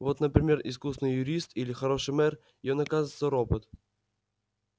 вот например искусный юрист или хороший мэр и он оказывается робот